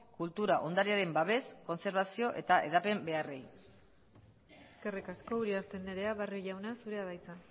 kultura ondarearen babes kontserbazio eta hedapen beharrei eskerrik asko uriarte andrea barrio jauna zurea da hitza